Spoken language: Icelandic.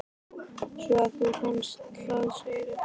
Svo að þú fannst það, segirðu?